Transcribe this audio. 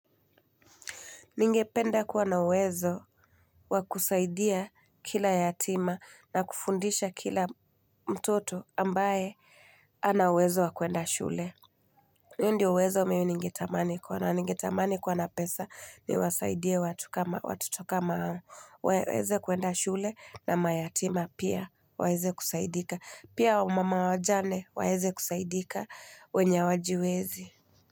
Ningependa kuwa na uwezo wa kusaidia kila yatima na kufundisha kila mtoto ambaye hana uwezo wa kuenda shule. Huo ndio uwezo mimi ningetamani kuwa nao ningetamani kuwa na pesa niwasaidie watoto kama hao waeze kuenda shule na mayatima pia waeze kusaidika. Pia wamama wajane waeze kusaidika wenye hawajiwezi.